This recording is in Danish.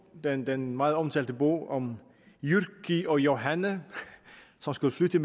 den den meget omtalte bog om jyrki og johanne som skulle flytte